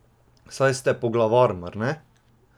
Saj ste poglavar, mar ne?